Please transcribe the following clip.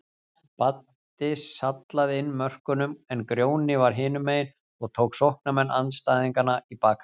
Baddi sallaði inn mörkunum en Grjóni var hinumegin og tók sóknarmenn andstæðinganna í bakaríið.